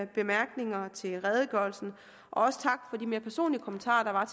bemærkninger til redegørelsen og også tak for de mere personlige kommentarer